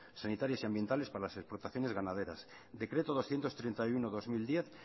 sanitarias y ambientales para las explotaciones ganaderas decreto doscientos treinta y uno barra dos mil diez